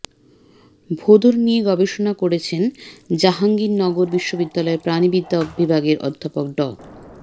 ভোঁদড় নিয়ে গবেষণা করেছেন জাহাঙ্গীরনগর বিশ্ববিদ্যালয়ের প্রাণিবিদ্যা বিভাগের অধ্যাপক ড